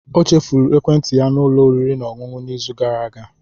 Ọ chefuru ekwentị ya na ụlọ oriri na ọṅụṅụ n'izu gara aga.